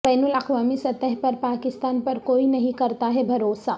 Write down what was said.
بین الااقوامی سطح پر پاکستان پر کوئی نہیں کرتاہے بھروسہ